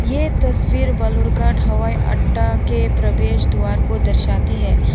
ये तस्वीर बालूरघाट हवाई अड्डा के प्रवेश द्वार को दर्शाती है।